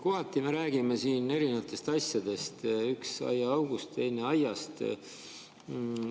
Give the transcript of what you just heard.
Kohati me räägime siin eri asjadest: üks aiaaugust, teine aiast.